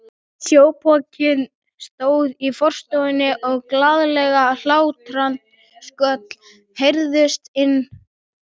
Sjópokinn stóð í forstofunni og glaðleg hlátrasköll heyrðust að innan.